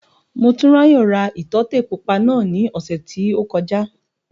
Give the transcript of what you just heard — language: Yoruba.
Motúnráyò ra ìtọ́tè pupa náà ní ọ̀sẹ̀ tí ó kọjá